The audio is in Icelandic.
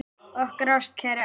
Okkar ástkæri afi.